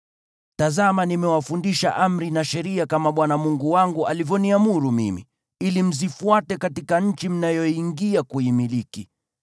Tazama, nimewafundisha amri na sheria kama Bwana Mungu wangu alivyoniamuru mimi, ili mzifuate katika nchi mnayoiingia kuimiliki.